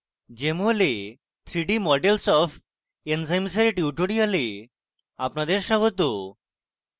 jmol এ 3d models of enzymes এর এই tutorial আপনাদের স্বাগত